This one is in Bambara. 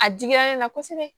A jigiya la kosɛbɛ